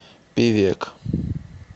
певек